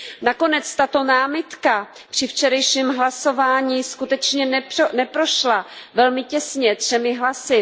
Nakonec tato námitka při včerejším hlasování skutečně neprošla velmi těsně, třemi hlasy.